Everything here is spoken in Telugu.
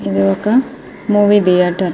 ఇది ఒక మూవీ థియేటర్ .